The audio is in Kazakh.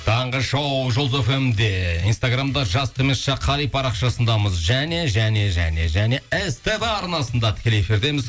таңғы шоу жұлдыз фм де инстаграмда қай парақшасындамыз және және және және ств арнасында тікелей эфирдеміз